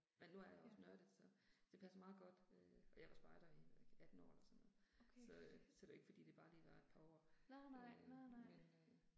Ja. Okay fedt. Nej nej, nej nej